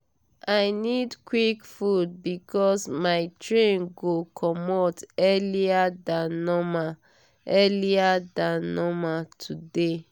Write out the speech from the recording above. i need quick food because my train go comot earlier than normal earlier than normal today.